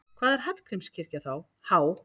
Hvað er Hallgrímskirkja há?